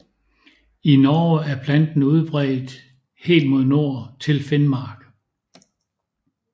I Norge er planten udbredt helt mod nord til Finnmark